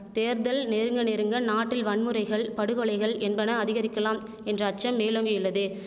தேர்தல் நெருங்க நெருங்க நாட்டில் வன்முறைகள் படுகொலைகள் என்பன அதிகரிக்கலாம் என்ற அச்சம் மேலோங்கியுள்ளது